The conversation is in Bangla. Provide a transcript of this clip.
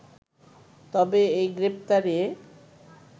তবে এই গ্রেপ্তারে